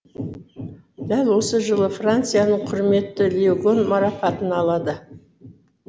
дәл осы жылы францияның құрметті лиегон марапатын алады